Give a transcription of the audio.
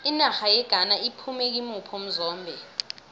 inarha yeghana iphume kimuphi umzombe